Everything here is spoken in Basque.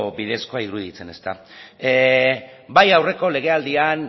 bidezkoa iruditzen ezta bai aurreko legealdian